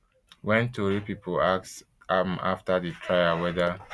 wen tori pipo ask am afta di trial weda